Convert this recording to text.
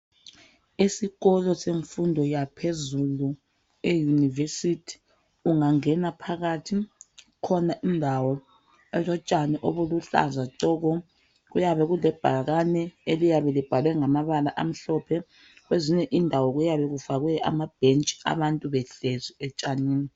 Esikolo semfundo yaphezulu e-university. Ungangena phakathi, kukhona indawo elotshani obuluhlaza tshoko! Kuyabe kulebhakane, eliyabe libhalwe ngamabala amhlophe. Kwezinye indawo, kuyabe kufakwe amabhentshi. Abantu behlezi etshanini.